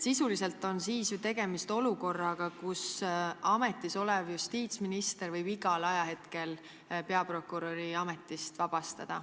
Sisuliselt on siis tegemist olukorraga, kus ametis olev justiitsminister võib peaprokuröri igal hetkel ametist vabastada.